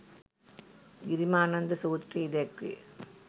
ගිරිමානන්ද සූත්‍රයෙහි දැක්වේ.